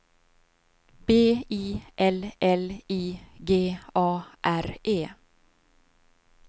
B I L L I G A R E